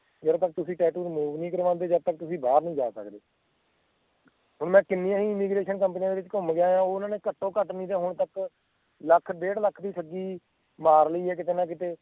ਜੱਦ ਤੱਕ ਤੁਸੀਂ tattoo remove ਨੀ ਕਰਵਾਉਂਦੇ ਜਦ ਤੱਕ ਤੁਸੀਂ ਬਾਹਰ ਨੀ ਜਾ ਸਕਦੇ ਹੁਣ ਮੈਂ ਕਿੰਨੀ ਹੀ immigration companies ਦੇ ਵਿਚ ਘੁੰਮ ਗਿਆ ਉਹਨਾਂ ਨੇ ਘਟੋ ਘੱਟ ਹੁਣ ਤੱਕ ਲੱਖ ਡੇਢ਼ ਲੱਖ ਦੀ ਠੱਗੀ ਮਾਰ ਲਈ ਆ ਕੀਤੇ ਨਾ ਕੀਤੇ